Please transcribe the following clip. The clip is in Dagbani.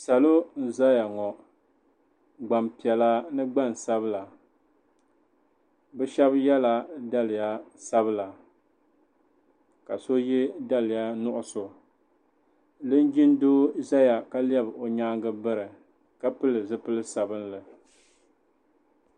Salo n-zaya ŋɔ gbampiɛla ni gbansabila bɛ shɛba yela daliya sabila ka so ye daliya nuɣuso linjin doo zaya ka lɛbi o nyaaŋa biri ka pili zipili sabinli.